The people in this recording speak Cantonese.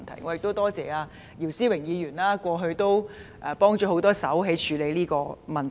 我多謝姚思榮議員過去協助處理這個問題。